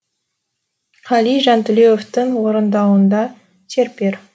қали жантілеуовтың орындауында серпер